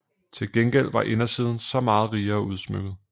Til gengæld var indersiden så meget rigere udsmykket